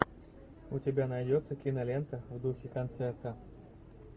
у тебя найдется кинолента в духе концерта